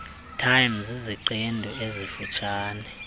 time ziziqendu ezifutshane